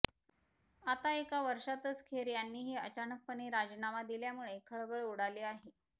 आता एका वर्षातच खेर यांनीही अचानकपणे राजीनामा दिल्यामुळे खळबळ उडाली आहे